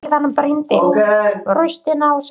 Síðan brýndi hann raustina og sagði